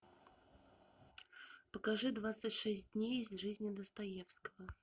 покажи двадцать шесть дней из жизни достоевского